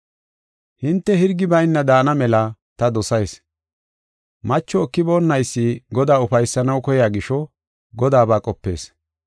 Hinte hirgi bayna daana mela ta dosayis. Macho ekiboonaysi Godaa ufaysanaw koya gisho, Godaaba qopees.